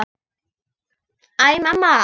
Æ, mamma!